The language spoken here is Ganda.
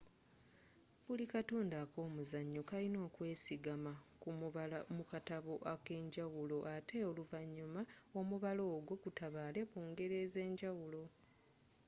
buli katundu ak'omuzanyo kalina okwesigama ku mubala mu katabo akenjawulo ate oluvanyuma omubala ogwo gutabaale mu ngero ez'enjawulo